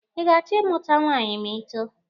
Ị ga-achọ ịmụta nwaanyị ma ị too?